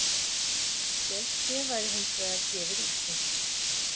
Geldfé væri hins vegar gefið úti